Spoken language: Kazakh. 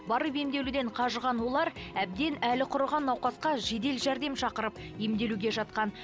барып емделуден қажыған олар әбден әлі құрыған науқасқа жедел жәрдем шақырып емделуге жатқан